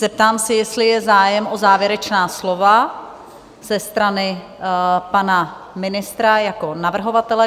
Zeptám se, jestli je zájem o závěrečná slova ze strany pana ministra jako navrhovatele?